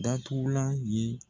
Datugulan ye